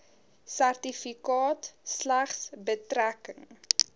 sertifikaat slegs betrekking